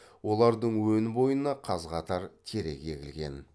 олардың өн бойына қаз қатар терек егілген